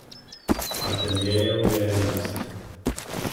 Ateljejev je enajst.